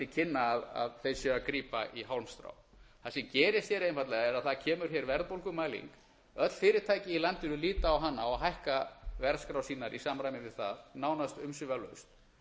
kynna að þeir séu að grípa í hálmstrá það sem gerist hér einfaldlega er að það kemur hér verðbólgumæling öll fyrirtæki í landinu líta á hana og hækka verðskrár sínar í samræmi við það nánast umsvifalaust